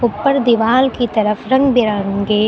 ऊपर दीवार की तरफ रंग बिरंगे--